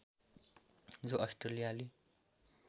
जो अस्ट्रेलियाली